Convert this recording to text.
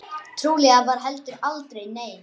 Trúlega var heldur aldrei nein.